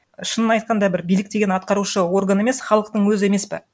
шынын айтқанда бір билік деген атқарушы орган емес халықтың өзі емес па